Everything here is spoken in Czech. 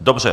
Dobře.